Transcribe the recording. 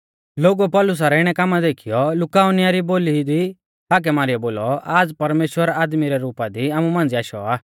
लोगुऐ पौलुसा रै इणै कामा देखीयौ लुकाउनिया री बोली दी हाकै मारीयौ बोलौ आज़ परमेश्‍वर आदमी रै रुपा दी आमु मांझ़िऐ आशौ आ